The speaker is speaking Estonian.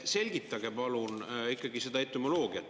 Selgitage palun ikkagi seda etümoloogiat.